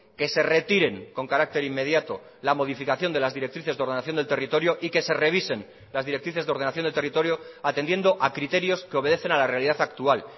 que se retiren con carácter inmediato la modificación de las directrices de ordenación del territorio y que se revisen las directrices de ordenación de territorio atendiendo a criterios que obedecen a la realidad actual